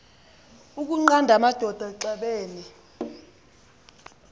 ukunqanda amadoda axabene